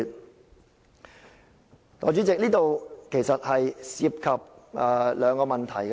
"代理主席，這涉及兩個問題。